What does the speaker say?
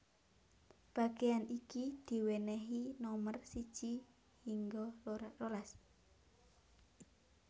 Bagéan iki diwènèhi nomer siji hingga rolas